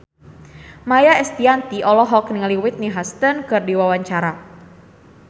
Maia Estianty olohok ningali Whitney Houston keur diwawancara